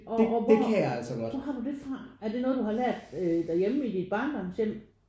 Og og hvor hvor har du det fra? Er det noget du har lært derhjemme i dit barndomshjem?